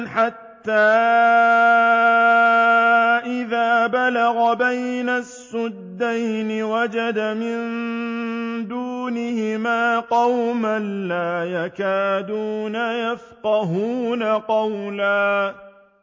حَتَّىٰ إِذَا بَلَغَ بَيْنَ السَّدَّيْنِ وَجَدَ مِن دُونِهِمَا قَوْمًا لَّا يَكَادُونَ يَفْقَهُونَ قَوْلًا